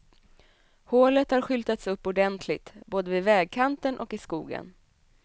Hålet har skyltats upp ordentligt, både vid vägkanten och i skogen.